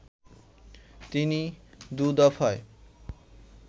তিনি দু'দফায়